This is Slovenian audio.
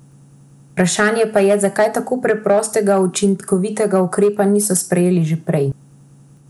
Vprašanje pa je, zakaj tako preprostega, a učinkovitega ukrepa, niso sprejeli že prej.